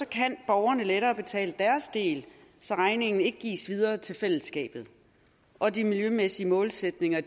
kan borgerne lettere betale deres del så regningen ikke gives videre til fællesskabet og de miljømæssige målsætninger